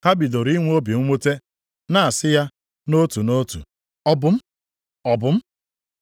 Ha bidoro inwe obi mwute, na-asị ya nʼotu nʼotu, “Ọ bụ m? Ọ bụ m?”